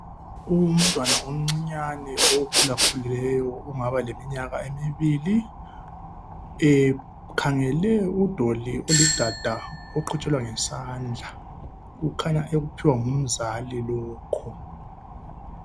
Umntwana omncane okhulakhulileyo ongaba leminyaka emibili , ukhangele udoli olidada oqhutshelwa ngesandla kukhanya ekuphiwa ngumzali lokho.